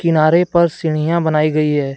किनारे पर सीढ़ियां बनाई गई है।